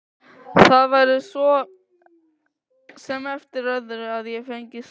Það væri svo sem eftir öðru að ég fengi slag.